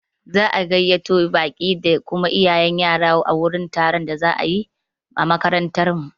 Za'a gayyato baƙi da kuma iyayen yara wurin taron da za'a yi a makarantar mu.